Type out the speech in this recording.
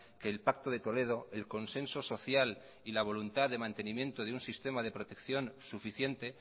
que el pacto de toledo el consenso social y la voluntad de mantenimiento de un sistema de protección suficiente